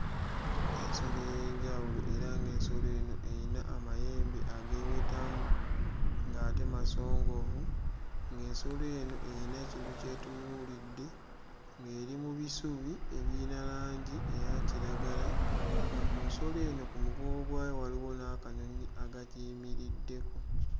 Ensolo ey'enjawulo era ng'ensolo eno eyina amayembe ageewetamu ng'ate masongovu, ng'ensolo eno eyina ekintu ky'etunuulidde ng'eri mu bisubi ebiyina langi eya kiragala nga ku nsolo eno ku mugongo gwayo waliwo n'akanyonyi akagiyimiriddeko.